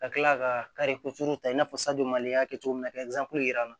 Ka kila ka ta i n'a fɔ mali y'a kɛ cogo min na ka yir'an na